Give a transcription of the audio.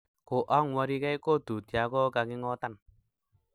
Koang'weri gei kotut ya koking'otan